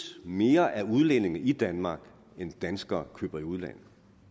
mere af udlændinge i danmark end danskere køber i udlandet